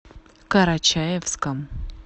карачаевском